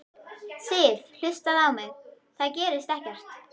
Sif. hlustaðu á mig. það gerist ekkert!